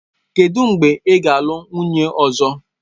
Kedụ mgbe ọ ga-alụ nwunye ọzọ?